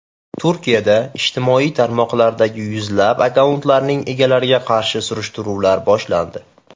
Turkiyada ijtimoiy tarmoqlardagi yuzlab akkauntlarning egalariga qarshi surishtiruvlar boshlandi.